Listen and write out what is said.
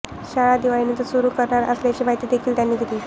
शाळा दिवाळीनंतर सुरु करणार असल्याची माहिती देखील त्यांनी दिली